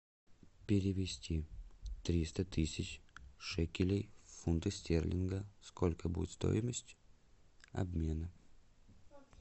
перевести триста тысяч шекелей в фунты стерлинга сколько будет стоимость обмена